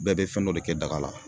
Bɛɛ bɛ fɛn dɔ de kɛ daga la